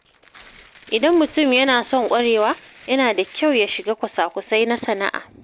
Idan mutum yana son ƙwarewa, yana da kyau ya shiga kwasa-kwasai na sana’a.